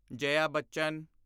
ਜਾਇਆ ਬੱਚਣ